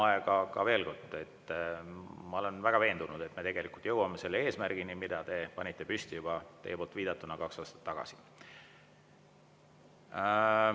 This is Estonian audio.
Aga veel kord, ma olen väga veendunud, et me jõuame selle eesmärgini, mille te panite püsti juba, nagu te viitasite, kaks aastat tagasi.